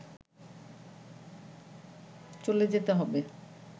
চলে যেতে হবে